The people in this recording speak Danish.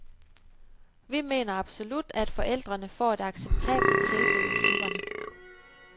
Vi mener absolut, at forældrene får et acceptabelt tilbud i klubberne.